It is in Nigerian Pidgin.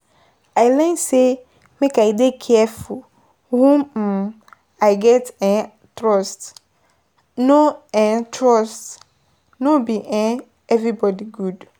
I learn sey make I dey careful whom um I get um trust, no um trust, no be um everybodi good